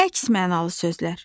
Əks mənalı sözlər.